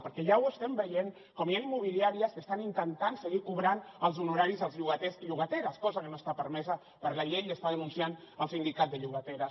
perquè ja estem veient com ja hi han immobiliàries que estan intentant seguir cobrant els honoraris als llogaters i llogateres cosa que no està permesa per la llei i està denunciant el sindicat de llogateres